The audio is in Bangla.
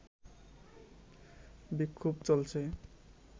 বিক্ষোভ চলছে